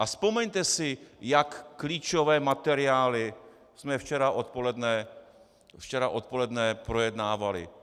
A vzpomeňte si, jak klíčové materiály jsme včera odpoledne projednávali.